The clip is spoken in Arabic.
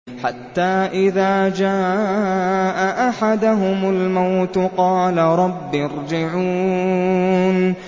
حَتَّىٰ إِذَا جَاءَ أَحَدَهُمُ الْمَوْتُ قَالَ رَبِّ ارْجِعُونِ